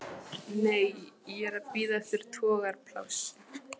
Nei, ég er að bíða eftir togaraplássi.